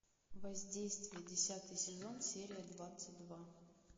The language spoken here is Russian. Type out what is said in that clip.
воздействие десятый сезон серия двадцать два